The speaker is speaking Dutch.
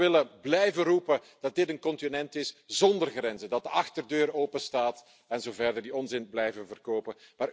Ze willen blijven roepen dat dit een continent is zonder grenzen, dat de achterdeur open staat enzoverder, die onzin blijven verkopen.